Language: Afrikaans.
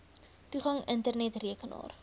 toegang internet rekenaar